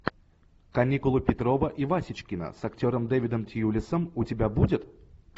каникулы петрова и васечкина с актером дэвидом тьюлисом у тебя будет